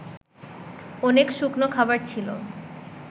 অনেক শুকনো খাবার ছিল